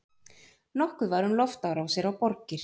Nokkuð var um loftárásir á borgir.